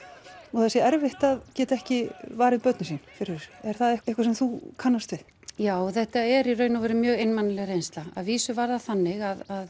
og það sé erfitt að geta ekki varið börnin sín fyrir þessu er það eitthvað sem þú kannast við já þetta er í raun mjög reynsla að vísu var það þannig að